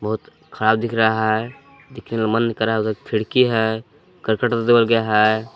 खराब दिख रहा है खिड़की है करकट से देवल गया है।